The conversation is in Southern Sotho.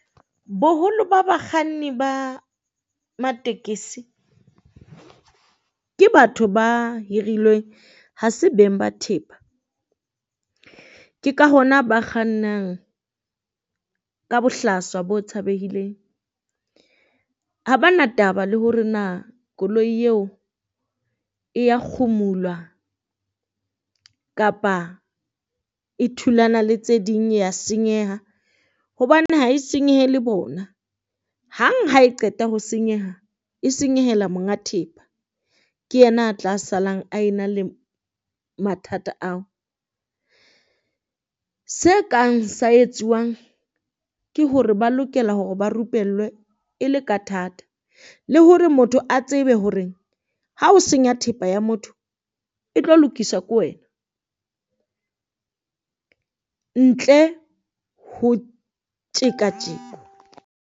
Boholo ba bakganni ba matekesi ke batho ba hirilweng ha se beng ba thepa, ke ka hona ba kgannang ka bohlaswa bo tshabeileng. Ha ba na taba le hore na koloi eo e ya kgumulwa kapa e thulana le tse ding ya senyeha, hobane ha e senyehile bona. Hang ha e qeta ho senyeha e senyehela monga thepa, ke yena a tla salang a e na le mathata ao se kang sa etsuwang ke hore ba lokela hore ba rupellwe e le ka thata. Le hore motho a tsebe hore ha o senya thepa ya motho e tlo lokiswa ko wena ntle ho tjeka .